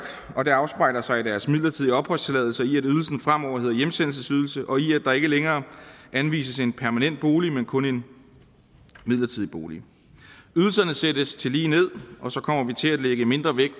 og det afspejler sig i deres midlertidige opholdstilladelse i at ydelsen fremover hedder hjemsendelsesydelse og i at der ikke længere anvises en permanent bolig men kun en midlertidig bolig ydelserne sættes tillige ned og så kommer vi til at lægge mindre vægt